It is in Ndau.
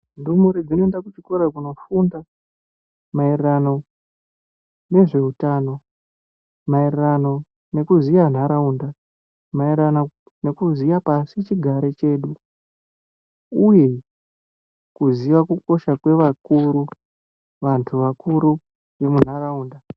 Ndumure dzinoenda kuchikora kunofunda maererano nezveutano maererano nekuziya nharaunda maererano nekuziya pasi chigare chedu uye maererano nekuzivakukosha kwevakuru vantu vakuru munharaunda.